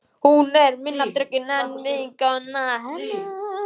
Hún er minna drukkin en vinkona hennar.